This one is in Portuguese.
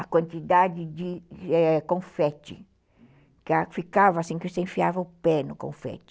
A quantidade de eh confete , que ficava assim, que você enfiava o pé no confete.